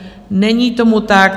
Není tomu tak.